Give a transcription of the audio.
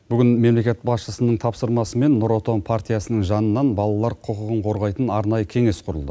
бүгін мемлекет басшысының тапсырмасымен нұр отан партиясының жанынан балалар құқығын қорғайтын арнайы кеңес құрылды